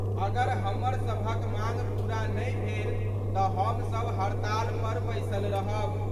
अगर हमर सबहक मांग पूरा नहि भेल त' हम सब हड़ताल पर बैसल रहब।